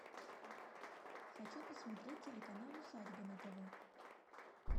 хочу посмотреть телеканал усадьба на тв